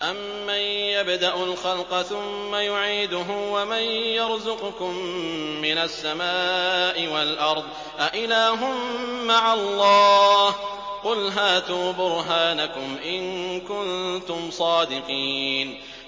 أَمَّن يَبْدَأُ الْخَلْقَ ثُمَّ يُعِيدُهُ وَمَن يَرْزُقُكُم مِّنَ السَّمَاءِ وَالْأَرْضِ ۗ أَإِلَٰهٌ مَّعَ اللَّهِ ۚ قُلْ هَاتُوا بُرْهَانَكُمْ إِن كُنتُمْ صَادِقِينَ